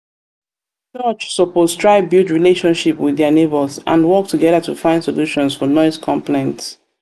church suppose try build relationship with um dia neighbors and work together to find solutions for noise complaints.